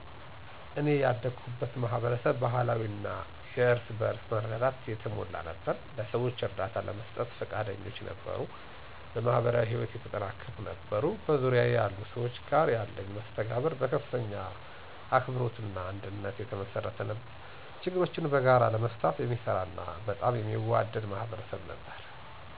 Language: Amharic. እኔ ያደኩበት ማህበረሰብ ባህላዊ እና እርስ በእርስ በመረዳዳት የተሞላ ነበር። ለሰዎች እርዳታ ለመስጠት ፈቃደኞች ነበሩ፣ በማህበራዊ ህይወት የተጠናከሩ ነበሩ። በዙሪያዬ ያሉ ሰዎች ጋር ያለኝ መስተጋብር በከፍተኛ አክብሮት እና አንድነት የተመሰረተ ነበር፤ ችግሮችን በጋራ ለመፍታት የሚሰራ እና በጣም የሚዋደድ ማህበረሰብ ነበር።